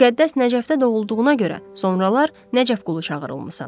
Müqəddəs Nəcəfdə doğulduğuna görə sonralar Nəcəfqulu çağırılmısan.